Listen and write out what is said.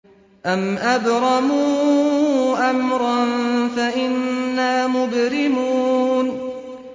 أَمْ أَبْرَمُوا أَمْرًا فَإِنَّا مُبْرِمُونَ